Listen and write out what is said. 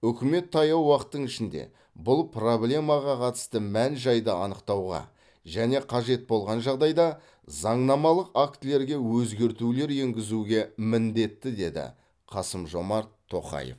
үкімет таяу уақыттың ішінде бұл проблемаға қатысты мән жайды анықтауға және қажет болған жағдайда заңнамалық актілерге өзгертулер енгізуге міндетті деді қасым жомарт тоқаев